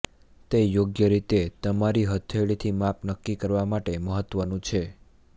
તે યોગ્ય રીતે તમારી હથેળીથી માપ નક્કી કરવા માટે મહત્વનું છે